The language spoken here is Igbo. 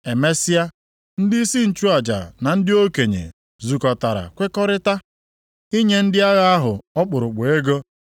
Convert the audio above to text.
Emesịa, ndị nchụaja na ndị okenye zukọtara kwekọrịtaa inye ndị agha ahụ ọkpụrụkpụ ego,